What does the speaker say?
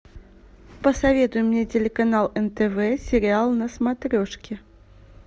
посоветуй мне телеканал нтв сериал на смотрешке